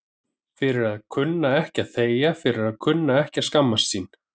Fyrir að kunna ekki að þegja, fyrir að kunna ekki að skammast sín.